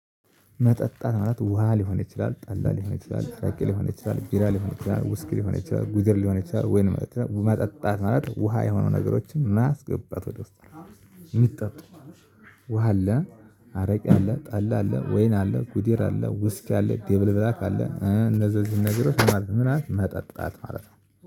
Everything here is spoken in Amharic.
መጠጣት ማለት ውሃ ሊሆን ይችላል ጠላ ሊሆን ይችላል አረቂ ሊሆን ይችላል ቢራ ሊሆን ይችላል ውስኪ ሊሆን ይችላል ጉዘር ሊሆን ይችላል ወይን መጠጣት ማለት ውሃ የሆኑ ነገሮችን ማስገባት ወደ ውስጥ የሚጠጡት ውሃ አለ። አረቂ አለ ጠላ አለ ወይን አለ ጉዲር አለ ውስኪ አለ ዴብል ብላክ አለ እነዚህ ነገሮች ምናምን መጠጣት ማለት ነው